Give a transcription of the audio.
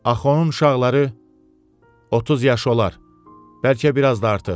Axı onun uşaqları 30 yaş olar, bəlkə biraz da artıq.